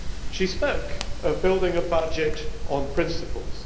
She spoke of building a budget on principles.